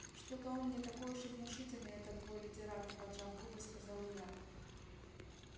что-то он не такой уж и внушительный этот твой литератор поджав губы сказала я